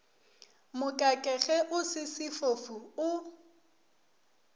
mokakege o se sefofu o